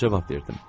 Cavab verdim.